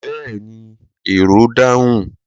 Yes, the passenger answered